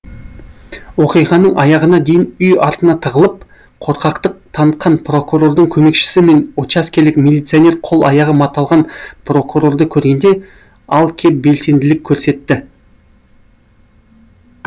оқиғаның аяғына дейін үй артына тығылып қорқақтық танытқан прокурордың көмекшісі мен учаскелік милиционер қол аяғы маталған прокурорды көргенде ал кеп белсенділік көрсетті